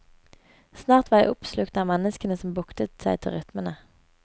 Snart var jeg oppslukt av menneskene som buktet seg til rytmene.